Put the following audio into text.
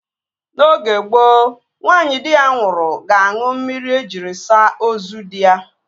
N'oge gboo, nwaanyị di ya nwụrụ ga-aṅụ mmiri ejiri saa ozu dị ya